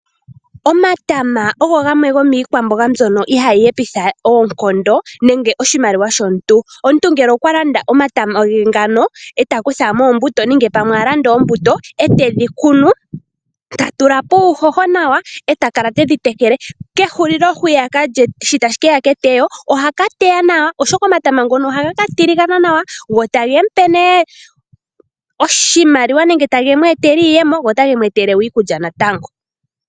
Omatama ogo gamwe gomiikwamboga mbyono ihayi hepitha oonkondo nenge oshimaliwa shomuntu. Omuntu ngele okwa landa omatama ge ngano e ta kutha mo oombuto nenge pamwe a landa oombuto e tedhi kune ta tula po uuhoho nawa e ta kala te dhi tekele. Kehulilo hwiyaka shi tashi ke ya ketewo oha ka teya nawa, oshoka omatama ngono ohaga ka tiligana nawa go tage mu pe nee oshimaliwa nenge tage mu etele iiyemo go otage mu pe iikulya natango.